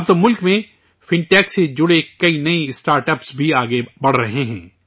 اب تو ملک میں فنٹیک سے جڑے نئے اسٹارٹ اپس بھی آگے بڑھ رہے ہیں